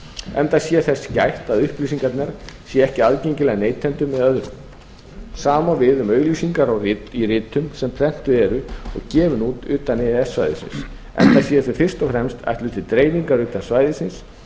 enda sé þess gætt að upplýsingarnar séu ekki aðgengilegar neytendum eða öðrum sama á við um auglýsingar í ritum sem prentuð eru og gefin út utan e e s svæðisins enda séu þau fyrst og fremst ætluð til dreifingar utan svæðisins